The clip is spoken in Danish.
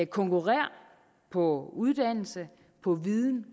konkurrere på uddannelse på viden